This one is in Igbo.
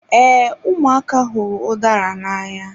Ee, ụmụaka hụrụ udara n'anya.